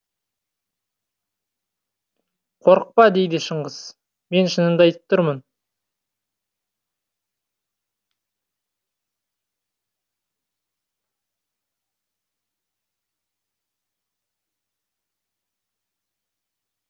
қорықпа дейді шыңғыс мен шынымды айтып тұрмын